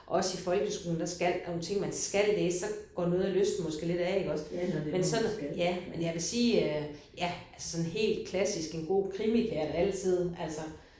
Også i folkeskolen der skal der er der nogle ting man skal læse så går lysten måske lidt af iggås men sådan ja men jeg vil sige ja helt klassisk en god krimi kan jeg vel altid altså